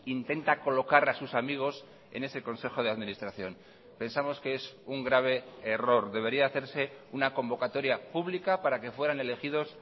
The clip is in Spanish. intenta colocar a sus amigos en ese consejo de administración pensamos que es un grave error debería hacerse una convocatoria pública para que fueran elegidos